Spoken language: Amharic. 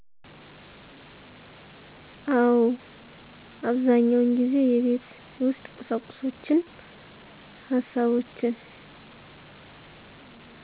አወ። አብዛኛውን ጊዜ የቤት ውስጥ ቁሳቁሶችን፣ ሀሳቦችን